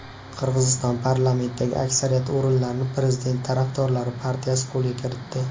Qirg‘iziston parlamentidagi aksariyat o‘rinlarni prezident tarafdorlari partiyasi qo‘lga kiritdi.